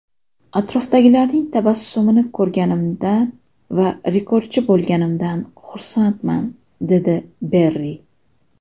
Atrofdagilarning tabassumini ko‘rganimdan va rekordchi bo‘lganimdan xursandman”, dedi Berri.